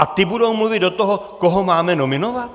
A ti budou mluvit do toho, koho máme nominovat?